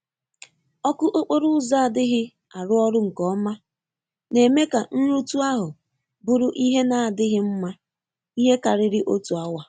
Oku okporo ụzo adighi arụ ọrụ nke ọma, na-eme ka nrutu ahu bụrụ ihe na adighi mma ihe kariri otu awa.